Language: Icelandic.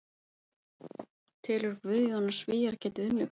Telur Guðjón að Svíar geti unnið Króata?